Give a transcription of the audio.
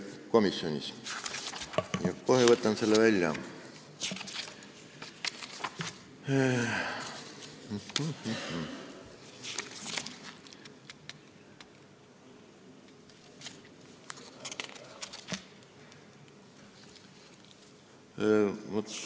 Ma kohe võtan selle koha välja.